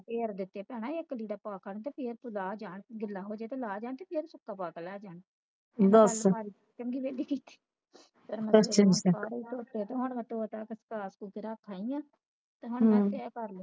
ਫਿਰ ਦੇਤੇ ਭੈਣਾਂ ਇੱਕ ਲੀੜਾ ਪਾ ਖੜਦੇ ਸੀ ਤੇ ਫ਼ੇਰ ਲਾ ਜਾਣ ਗਿਲਾ ਹੋ ਜਾਣ ਤਾ ਲਾ ਜਾਣ ਤੇ ਸੁੱਖਾ ਪਾ ਕੇ ਲੈ ਜਾਣ ਚੰਗੀ ਵੇਡ ਗਈ ਇਥੇ ਫਿਰ ਮੈਂ ਸਾਰੇ ਧੋਤੇ ਤੇ ਹੁਣ ਮੈਂ ਧੋ ਧਾ ਕੇ ਸੁੱਖਾ ਸੁਖੋ ਕੇ ਰੱਖ ਆਈ ਆ ਤੇ ਹੁਣ ਮੈਂ ਤਹਿ ਕਾਰਲੂਗੀ